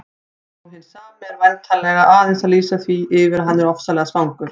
Sá hinn sami er væntanlega aðeins að lýsa því yfir að hann ofsalega svangur.